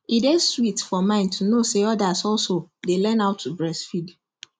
e day sweet for mind to know say others also day learn how to breastfeed